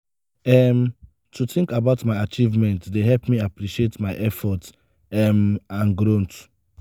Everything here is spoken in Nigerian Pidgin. um to think about my achievements dey help me appreciate my efforts um and growth.